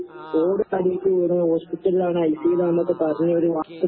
ആഹ്. ആഹ് ആഹ് ആഹ്